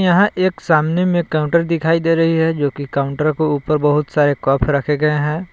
यहां एक सामने में काउंटर दिखाई दे रही है जो की काउंटर को ऊपर बहुत सारे कफ रखे गए हैं।